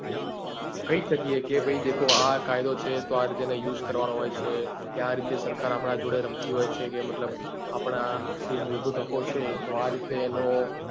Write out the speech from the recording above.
કઈ શકીએ કે ભાઈ દેખો કે આં કાયદો છે તો આ રીતે એનો use કરવા નો હોય છે કે આ રીતે સરકર આપડા જોડે રમતી હોય છે કે મતલબ આપડા મૂળભૂત હકો છે તો આ રીતે એનો મતલબ એનો